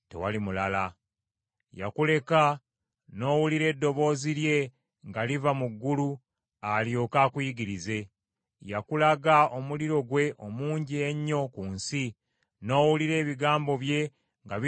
Yakuleka n’owulira eddoboozi lye nga liva mu ggulu alyoke akuyigirize. Yakulaga omuliro gwe omungi ennyo ku nsi, n’owulira ebigambo bye nga biva mu muliro ogwo.